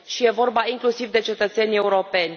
Și e vorba inclusiv de cetățenii europeni.